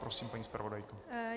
Prosím, paní zpravodajko.